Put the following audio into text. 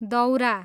दौरा